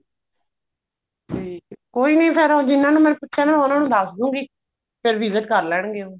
ਠੀਕ ਐ ਕੋਈ ਨੀ ਫੇਰ ਜਿਹਨਾ ਨੇ ਮੈਨੂੰ ਪੁੱਛੀਆ ਉਹਨਾ ਨੂੰ ਦੱਸ ਦੂਂਗੀ ਫੇਰ visit ਕਰ ਲੈਣਗੇ ਉਹ